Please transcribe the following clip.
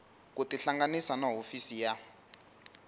ku tihlanganisa na hofisi ya